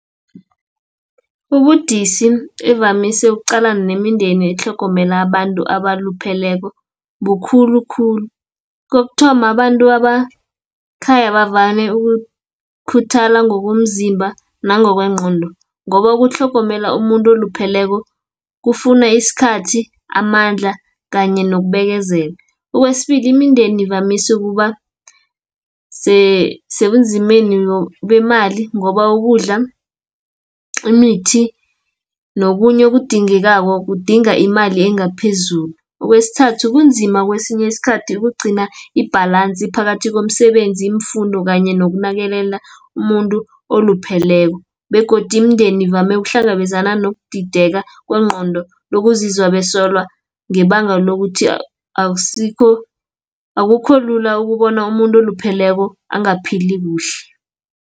Ubudisi evamise ukuqalana nemindeni etlhogomela abantu abalupheleko, bukhulukhulu. Kokuthoma abantu ekhaya bavame ukukhuthala ngokomzimba, nangokwengqondo, ngoba ukutlhogomela umuntu olupheleko, kufuna isikhathi, amandla kanye nokubekezela. Okwesibili imindeni ivamise ukuba sebunzimeni bemali ngoba ukudla, imithi nokunye okudingekako kudinga imali engaphezulu. Okwesithathu kunzima kwesinye isikhathi ukugcina i-balance phakathi komsebenzi, iimfundo kanye nokunakelela umuntu olupheleko, begodi imindeni ivame ukuhlangabezana nokudideka kwengqondo, nokuzizwa besolwa, ngebanga lokuthi akukho lula ukubona umuntu olupheleko angaphili kuhle.